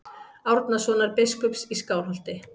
Árnasonar biskups í Skálholti.